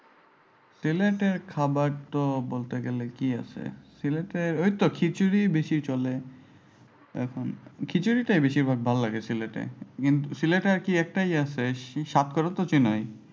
সিলেটের খাবার তো বলতে গেলে কি আছে? সিলেটে ঐতো খিচুরি বেশি চলে। এখন খিচুরিটাই বেশি ভালো লাগে সিলেটে। কিন্তু সিলেটে আর কি একটাই আছে সেই সাতকরাতো চিনই?